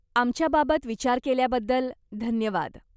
आमच्याबाबत विचार केल्याबद्दल धन्यवाद.